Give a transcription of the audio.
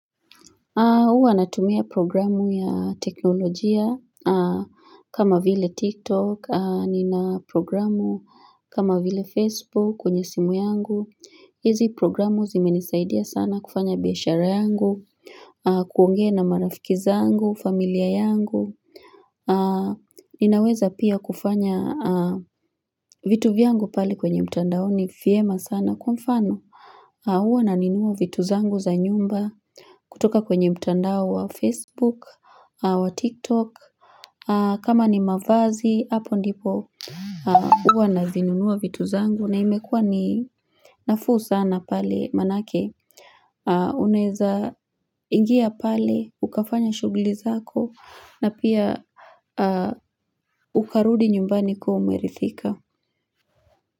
Huwa natumia programu ya teknolojia kama vile TikTok, nina programu kama vile Facebook kwenye simu yangu. Hizi programu zimenisaidia sana kufanya biashara yangu, kuongea na marafiki zangu, familia yangu. Ninaweza pia kufanya vitu vyangu pale kwenye mtandaoni vyema sana kwa mfano. Huwa nanunua vitu zangu za nyumba kutoka kwenye mtandao wa Facebook, wa TikTok, kama ni mavazi, hapo ndipo Ninaweza pia kufanya vitu vyangu pale kwenye mtandaoni vyema sana kwa mfano. Uwa na nunuwa vitu zangu za nyumba kutoka kwenye mtandao wa Facebook, wa TikTok, kama ni mavazi, hapo ndipo.